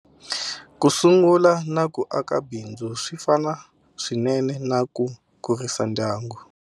Ku sungula na ku aka bindzu swi fana swinene na ku kurisa ndyangu.